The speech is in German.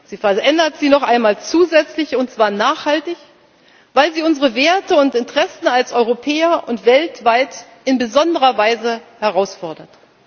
Sie verändert sie noch einmal zusätzlich, und zwar nachhaltig, weil sie unsere Werte und Interessen als Europäer und weltweit in besonderer Weise herausfordert.